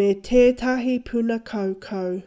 me tētahi puna kaukau